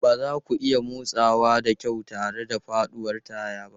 Ba za ku iya motsawa da kyau tare da faɗuwar taya ba.